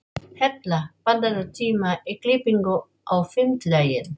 Hella, pantaðu tíma í klippingu á fimmtudaginn.